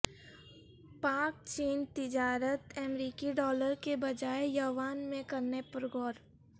پاک چین تجارت امریکی ڈالر کے بجائے یوان میں کرنے پر غور